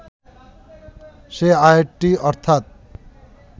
সেই আয়াতটি অর্থাৎ